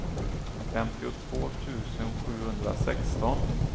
femtiotvå tusen sjuhundrasexton